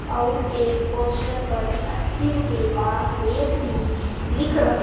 और एक पोस्टर पर अस्सी रूपए का रेट भी लिख रहे--